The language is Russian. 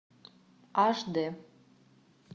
аш дэ